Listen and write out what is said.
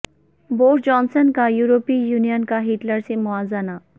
Boris Johnson کا یورپی union کا ہٹلر سے موازنہ